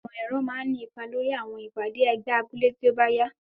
Ìmọ̀ ẹ̀rọ máa ní ipa lórí àwọn ìpàdé ẹgbẹ́ abúlé tí ó bá yá.